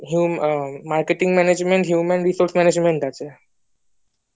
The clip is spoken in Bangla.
human resource management ah